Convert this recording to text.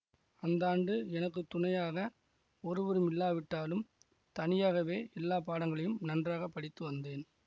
அந்த ஆண்டு எனக்கு துணையாக ஒருவரும் இல்லாவிட்டாலும் தனியாகவே எல்லா பாடங்களையும் நன்றாக படித்து வந்தேன்